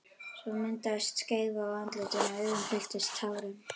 Svo myndaðist skeifa á andlitinu og augun fylltust tárum.